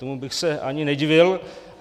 Tomu bych se ani nedivil.